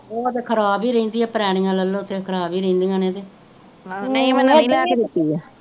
ਉਹ ਤਾ ਖਰਾਬ ਹੀ ਰਹਿੰਦੀ ਪਰਾਣੀਆਂ ਲੇਲੋ ਖਰਾਬ ਹੀ ਰਹਿੰਦੀਆਂ ਨੇ ਤੇ